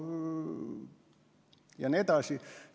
Ja nii edasi.